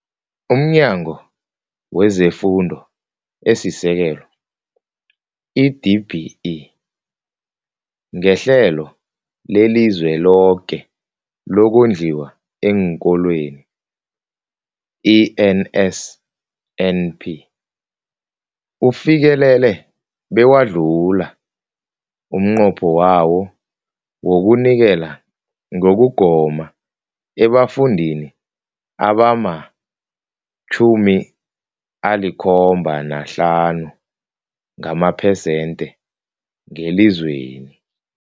UmNyango wezeFundo esiSekelo, i-DBE, ngeHlelo leliZweloke lokoNdliwa eenKolweni, i-NSNP, ufikelele bewadlula umnqopho wawo wokunikela ngokugoma ebafundini abama-75 ngamaphesenthe ngelizweni.